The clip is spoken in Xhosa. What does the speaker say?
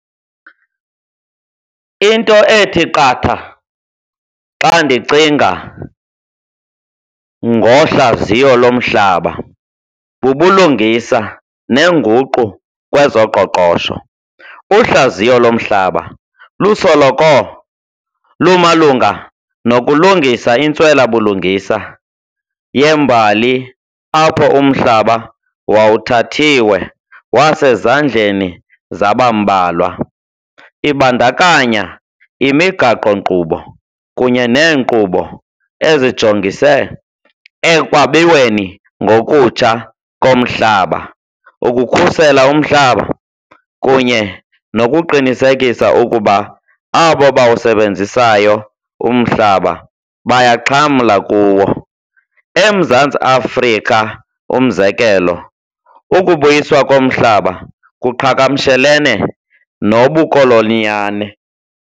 Into ethi qatha xa ndicinga ngohlaziyo lomhlaba bubulungisa neenguqo kwezoqoqosho. Uhlaziyo lomhlaba lusoloko lumalunga nokulungisa intswelabulingsa yembali apho umhlaba wawuthathiwe wasezandleni zabambalwa. Ibandakanya imigaqo-nkqubo kunye neenkqubo ezijongise ekwabiweni ngokutsha komhlaba ukukhusela umhlaba kunye nokuqinisekisa ukuba abo abawusebenzisayo umhlaba bayaxhamla kuwo. EMzantsi Afrika, umzekelo, ukubuyiswa komhlaba kuqakamshelene nobukoloniyane.